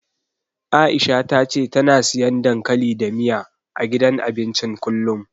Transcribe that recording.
Aisha ta ce tana siyan dankali da miya, a gidan abincin kullum.